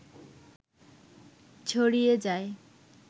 ছড়িয়ে যায়